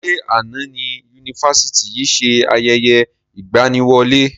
Ṣé àná ni Yunifásítì yìí ṣe ayẹyẹ ìgbàníwọlé?